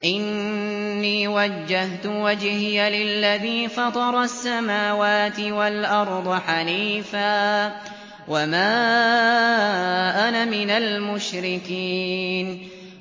إِنِّي وَجَّهْتُ وَجْهِيَ لِلَّذِي فَطَرَ السَّمَاوَاتِ وَالْأَرْضَ حَنِيفًا ۖ وَمَا أَنَا مِنَ الْمُشْرِكِينَ